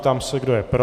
Ptám se, kdo je pro.